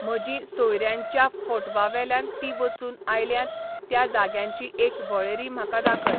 म्हजीं सोयऱ्यांच्या फोटवांवेल्यान तीं वचून आयल्यांत त्या जाग्यांची एक वळेरी म्हाका दाखय